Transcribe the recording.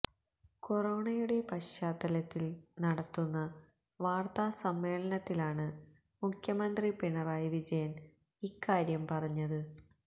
കൊറോണയുടെ പശ്ചാത്തലത്തില് നടത്തുന്ന വാര്ത്താ സമ്മേളനത്തിലാണ് മുഖ്യന്ത്രി പിണറായി വിജയന് ഇക്കാര്യം പറഞ്ഞത്